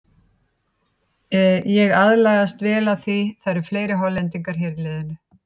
Ég er aðlagast vel af því að það eru fleiri Hollendingar hér í liðinu.